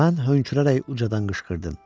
Mən hönkürərək ucadan qışqırdım.